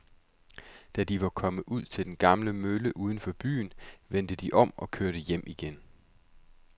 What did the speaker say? Da de var kommet ud til den gamle mølle uden for byen, vendte de om og kørte hjem igen.